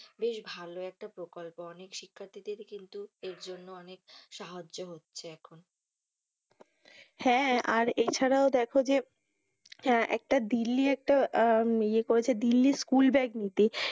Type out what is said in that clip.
বেশ ভালো একটা প্রকল্প অনেক শিক্ষার্থীদেরই কিন্তু এর জন্য অনেক সাহায্য হচ্ছে এখন। হ্যাঁ হ্যাঁ আর এছাড়াও দেখ যে হ্যাঁ একটা দিল্লী একটা ইয়ে করেছে দিল্লী স্কুল ব্যাগ নীতি।